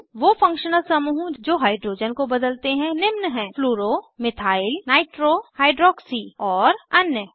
वो फंक्शनल समूहों जो हाइड्रोजन को बदलते हैं निम्न हैं फ्लूरो मिथाइल नाइट्रो हाइड्रॉक्सी और अन्य